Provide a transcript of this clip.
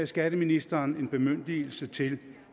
skatteministeren en bemyndigelse til